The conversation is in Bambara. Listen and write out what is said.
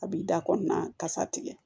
A b'i da kɔnɔna kasa tigɛ